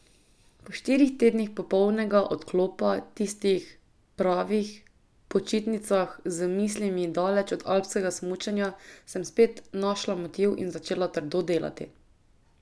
Po štirih tednih popolnega odklopa, tistih pravih počitnicah z mislimi daleč od alpskega smučanja, sem spet našla motiv in začela trdo delati.